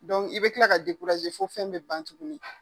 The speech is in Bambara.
i be kila ka fo fɛn be ban tuguni.